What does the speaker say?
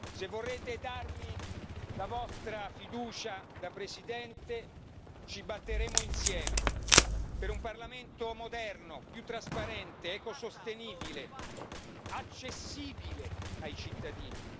Se vorrete darmi la vostra fiducia da Presidente, ci batteremo insieme per un Parlamento moderno, più trasparente, ecosostenibile e accessibile ai cittadini.